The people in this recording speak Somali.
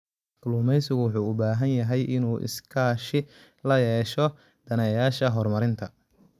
Kalluumeysigu wuxuu u baahan yahay inuu iskaashi la yeesho daneeyayaasha horumarinta.